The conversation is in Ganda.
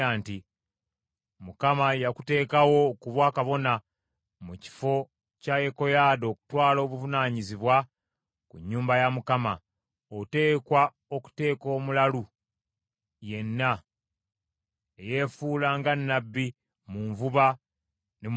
‘ Mukama yakuteekawo okuba kabona mu kifo kya Yekoyaada okutwala obuvunaanyizibwa ku nnyumba ya Mukama ; oteekwa okuteeka omulalu yenna eyefuula nga nnabbi mu nvuba ne mu masamba.